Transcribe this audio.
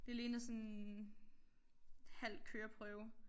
Det ligner sådan halv køreprøve